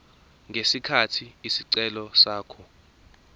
ngesikhathi isicelo sakhe